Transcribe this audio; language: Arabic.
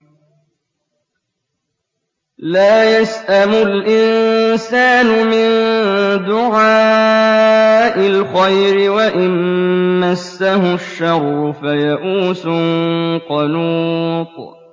لَّا يَسْأَمُ الْإِنسَانُ مِن دُعَاءِ الْخَيْرِ وَإِن مَّسَّهُ الشَّرُّ فَيَئُوسٌ قَنُوطٌ